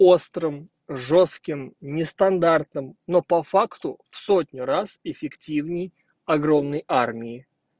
острым жёстким нестандартным но по факту в сотню раз эффективней огромной армии